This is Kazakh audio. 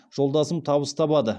жолдасым табыс табады